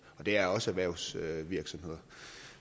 det er også erhvervsvirksomheder